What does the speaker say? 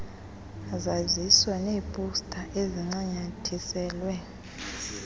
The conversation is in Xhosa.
zaziso neeposta ezincanyathiselwe